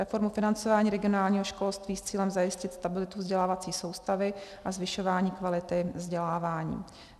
Reformu financování regionálního školství s cílem zajistit stabilitu vzdělávací soustavy a zvyšování kvality vzdělávání;